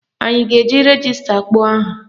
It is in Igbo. Anyị a ga-eji rejista kpọọ aha?